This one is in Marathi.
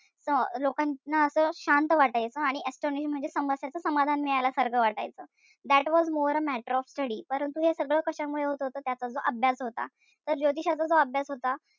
त लोकांना असं शांत वाटायचं आणि astonished म्हणजे समस्येचं समाधान मिळाल्यासारखं वाटायचं. That was more a matter of study परंतु हे सगळं कशामुळे होत होत त्याचा जो अभ्यास होता. तर ज्योतिषाचा जो अभ्यास होता,